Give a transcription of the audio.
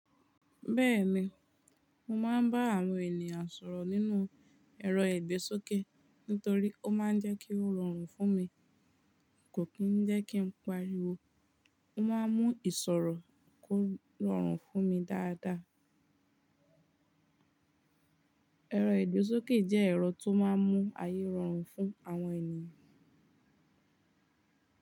Bẹ́ẹ̀ni, mo máa ń bá àwọn ènìyàn sọ̀rọ̀ nínú ẹ̀rọ ìgbésókè ni torí ó máa ń jẹ́ kí ó rọrùn fún mi. Kò kí ń jẹ́ kí n pariwo, ó máa ń mú ìsọ̀rọ̀ kó rọrùn fún mi dáadáa. Ẹ̀rọ ìgbésókè jẹ́ ẹ̀rọ tó máa ń mú ayé rọrùn fún àwọn ènìyàn.